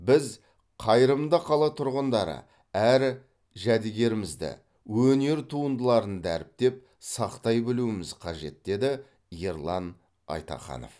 біз қайырымды қала тұрғындары әр жәдігерімізді өнер туындыларын дәріптеп сақтай білуіміз қажет деді ерлан айтаханов